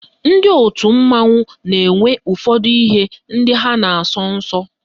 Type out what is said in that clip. Ndị otu mmanwụ na-enwe ụfọdụ ihe ndị ha na-asọ nsọ